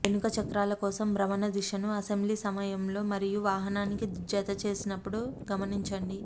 వెనుక చక్రాల కోసం భ్రమణ దిశను అసెంబ్లీ సమయంలో మరియు వాహనానికి జతచేసినప్పుడు గమనించండి